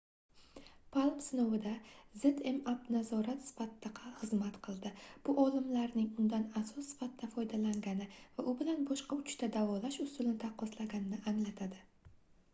palm sinovida zmapp nazorat sifatida xizmat qildi bu olimlarning undan asos sifatida foydalangani va u bilan boshqa uchta davolash usulini taqqoslaganini anglatadi